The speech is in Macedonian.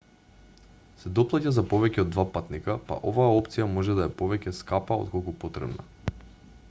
се доплаќа за повеќе од 2 патника па оваа опција може да е повеќе скапа отколку потребна